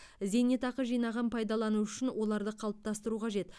зейнетақы жинағын пайдалану үшін оларды қалыптастыру қажет